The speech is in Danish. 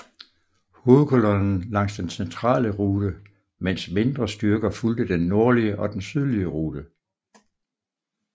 Hovedkolonnen langs den centrale rute mens mindre styrker fulgte den nordlige og den sydlige rute